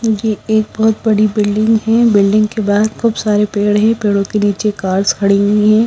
नीचे एक बहुत बड़ी बिल्डिंग है बिल्डिंग के बाहर खूब सारे पेड़ हैं पेड़ों के नीचे कार्स खड़ी हुई है।